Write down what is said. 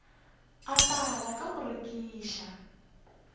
a phela ka go rekiša